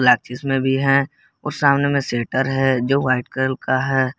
प्लाक्चिस में भी है और सामने में शेटर है जो वाइट कलर का है।